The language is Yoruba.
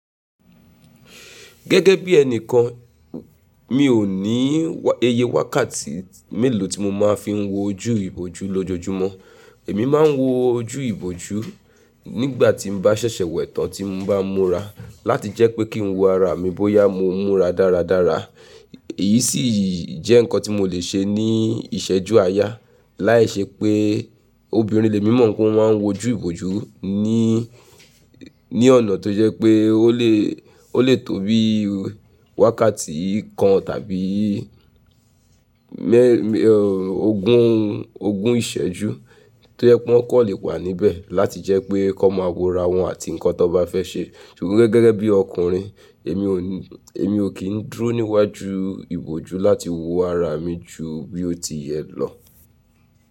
Gẹ́gẹ́ bí ẹni kan mi ò ní iyẹ wákàtí mélòó tí mo máa fi ń wo ojú ìbòjú lójoojúmọ́. Èmi máa ń wo ojú ìbòjú nígbà tí mo bá ṣẹ̀ṣẹ̀ wẹ̀ tán tí mo bá ń mura láti jẹ́ pé kí n wo ara mi bóyá mo ń mura dáradára. Èyí sì jẹ́ nǹkan tí mo lè ṣe ní ìṣẹ́jú àáyá. Láì ṣe pé obìnrin lè mímọ̀ pé wọ́n máa ń wo ojú ìbòjú ní, ní ọ̀nà tó jẹ́ pé ó lè, ó lè tó bí wákàtí kan tàbí ogún, ogún ìṣẹ́jú tó jẹ́ pé wọ́n kò lè wà níbẹ̀ láti jẹ́ pé kí wọ́n máa wo ara wọn àti nǹkan tó bá fẹ́ ṣe. Ṣùgbọ́n gẹ́gẹ́ bí ọkùnrin èmi ò ní, èmi ò kí ń dúró níwájú ìbòjú láti wo ara mi ju bí ó ti yẹ lọ.